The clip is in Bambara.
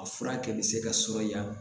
A fura kɛli bɛ se ka sumaya